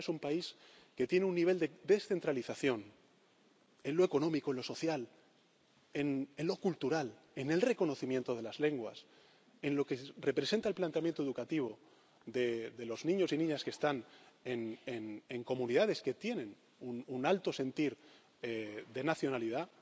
país. España es un país que tiene un nivel de descentralización, en lo económico, en lo social, en lo cultural, en el reconocimiento de las lenguas, en lo que representa el planteamiento educativo de los niños y niñas que están en comunidades que tienen un alto sentir de nacionalidad